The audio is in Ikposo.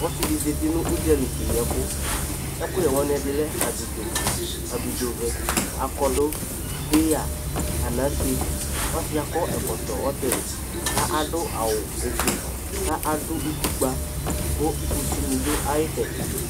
Ɔsɩ ɖɩ zatɩ nu uɖzalɩ kẹƴɩ ɛku Ɛkuyɛ wanɩ ɛɖɩ lɛ abɩɖzo, abɩɖzovɛ, akɔɖu, peya, anase Ɔsi yɛ akɔ ɛkɔtɔ ɔtɩlɩ, ku aɖu awu ofoe, ka aɖu utɩkpa ku kusɩ nɩ ɖu ayi tsɛɖɩ